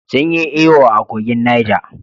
Sun yi iyo a kogin Niger